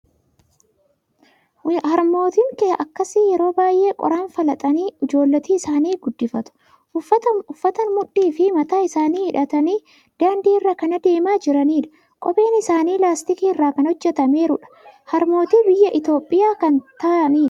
Harmootiin akkasii yeroo baay'ee qoraan falaxanii ijoollota isaanii guddifatu. Uffataan mudhii fi mataa isaanii hidhatanii daandii irra kan adeemaa jiranidha. Kopheen isaanii laastikii irraa kan hojjetameerudha. Harmootii biyya Itoophiyaa kan ta'anidha.